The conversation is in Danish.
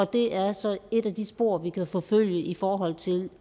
det er så et af de spor vi også kan forfølge i forhold til